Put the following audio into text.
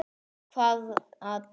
Hvaða dag?